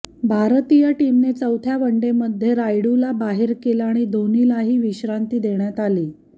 भारतीय टीमने चौथ्या वनडेमध्ये रायुडूला बाहेर केलं आणि धोनीलाही विश्रांती देण्यात आली